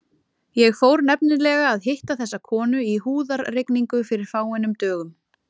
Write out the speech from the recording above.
Ég fór nefnilega að hitta þessa konu í húðarrigningu fyrir fáeinum dögum.